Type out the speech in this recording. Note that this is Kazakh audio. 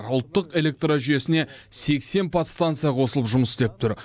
ұлттық электрожүйесіне сексен подстанция қосылып жұмыс істеп тұр